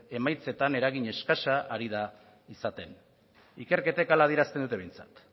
emaitzetan eragin eskasa ari da izaten ikerketek hala adierazten dute behintzat